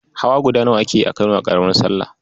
Hawa guda nawa ake yi a Kano da ƙaramar sallah?